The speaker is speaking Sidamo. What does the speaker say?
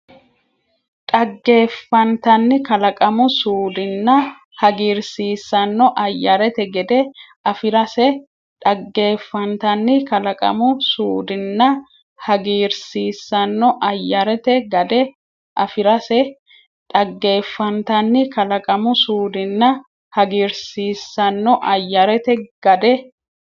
Dhaggeeffantanni kalaqamu suudinna hagiirsiissanno ayyarete gade afi’rase Dhaggeeffantanni kalaqamu suudinna hagiirsiissanno ayyarete gade afi’rase Dhaggeeffantanni kalaqamu suudinna hagiirsiissanno ayyarete gade.